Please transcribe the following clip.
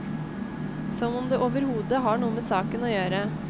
Som om det overhodet har noe med saken å gjøre.